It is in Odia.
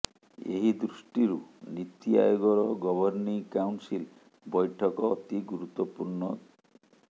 ଏହି ଦୃଷ୍ଟିରୁ ନୀତି ଆୟୋଗର ଗଭର୍ଣ୍ଣିଂ କାଉନସିଲ୍ ବୈଠକ ଅତି ଗୁରୁତ୍ୱପୂର୍ଣ୍ଣ